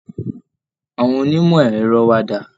Àwọn onímọ̀ ẹ̀rọ wa dà?